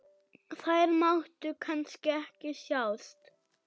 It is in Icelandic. Þær máttu kannski ekki sjást?